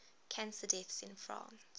cancer deaths in france